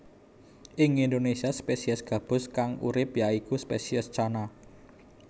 Ing Indonésia spesies gabus kang urip ya iku spesies Channa